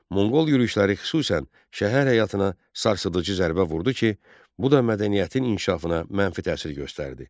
Monqol yürüşləri xüsusən şəhər həyatına sarsıdıcı zərbə vurdu ki, bu da mədəniyyətin inkişafına mənfi təsir göstərdi.